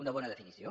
una bona definició